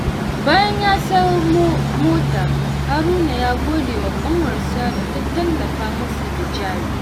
Bayan ya samu mota, Haruna ya gode wa ƙanwarsa da ta tallafa masa da jari.